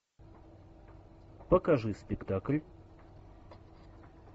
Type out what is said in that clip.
покажи спектакль